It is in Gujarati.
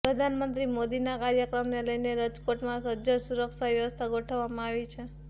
પ્રધાનમંત્રી મોદીના કાર્યક્રમને લઇને રજકોટમાં સજ્જડ સુરક્ષા વ્યવસ્થા ગોઠવવામાં આવી છે